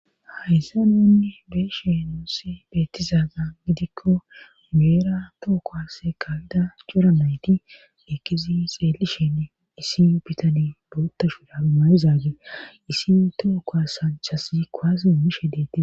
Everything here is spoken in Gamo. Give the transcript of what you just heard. hayssa nunne beeshe noossi beettizaagan gidikko geera tookos kawida joramayti ekizi xeelishinn isi bitani duutta shurabi mayizaage isi tooko sanchasi koase emishe deetti